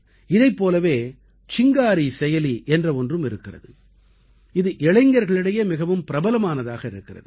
இதைப் போலவே சிங்காரி செயலி என்ற ஒன்றும் இருக்கிறது இது இளைஞர்களிடையே மிகவும் பிரபலமானதாக இருக்கிறது